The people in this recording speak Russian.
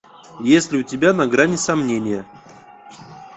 есть ли у тебя на грани сомнения